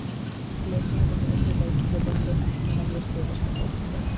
Leikmennirnir unnu leikinn fyrir okkur en ekki með því að spila sinn fótbolta.